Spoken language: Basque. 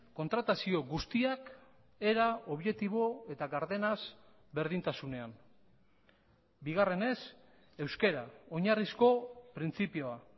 kontratazio guztiak era objektibo eta gardenaz berdintasunean bigarrenez euskara oinarrizko printzipioa